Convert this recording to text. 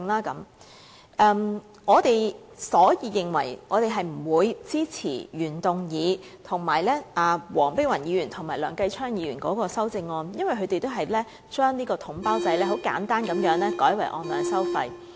因此，我們不會支持原動議，以及黃碧雲議員和梁繼昌議員的修正案，因為它們都旨在把統包制簡單地改為按量收費。